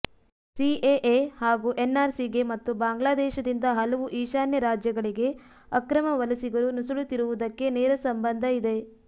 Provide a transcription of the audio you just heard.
CAA ಹಾಗೂ ಎನ್ಆರ್ಸಿಗೆ ಮತ್ತು ಬಾಂಗ್ಲಾದೇಶದಿಂದ ಹಲವು ಈಶಾನ್ಯ ರಾಜ್ಯಗಳಿಗೆ ಅಕ್ರಮ ವಲಸಿಗರು ನುಸುಳುತ್ತಿರುವುದಕ್ಕೆ ನೇರ ಸಂಬಂಧ ಇದೆ